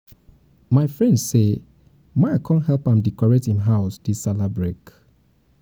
my friend say my come help am decorate him house um dis sallah break